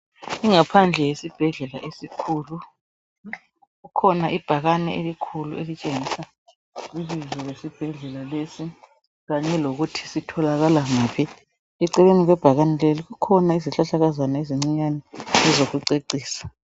Ingaphandle yesibhedlela esikhulu kukhona ibhakane elikhulu elitshengisa ibizo lesibhedlela lesi kanye lokuthi sitholakala ngaphi eceleni kwebhakane leli kukhona izihlahlakazana ezincinyane ezokucecisa